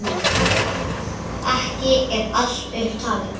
Ekki er allt upp talið.